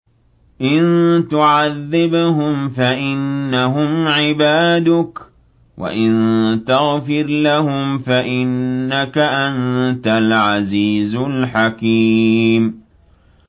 إِن تُعَذِّبْهُمْ فَإِنَّهُمْ عِبَادُكَ ۖ وَإِن تَغْفِرْ لَهُمْ فَإِنَّكَ أَنتَ الْعَزِيزُ الْحَكِيمُ